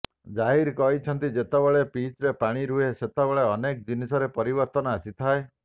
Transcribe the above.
ଜାହିର କହିଛନ୍ତି ଯେତେବେଳେ ପିଚରେ ପାଣି ରୁହେ ସେତେବେଳେ ଅନେକ ଜିନିଷରେ ପରିବର୍ତ୍ତନ ଆସିଥାଏ